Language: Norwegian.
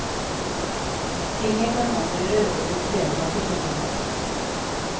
Tinget kan omgjøre rådets vedtak i slike saker.